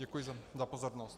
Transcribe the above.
Děkuji za pozornost.